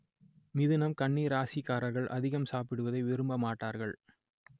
மிதுனம் கன்னி ராசிக்காரர்கள் அதிகம் சாப்பிடுவதை விரும்ப மாட்டார்கள்